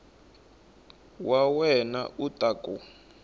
wa wena u ta ku